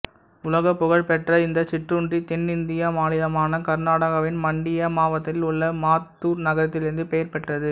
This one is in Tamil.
உலக புகழ்பெற்ற இந்த சிற்றுண்டி தென்னிந்தியா மாநிலமான கர்நாடகாவின் மண்டியா மாவட்டத்தில் உள்ள மத்தூர் நகரத்திலிருந்து பெயர் பெற்றது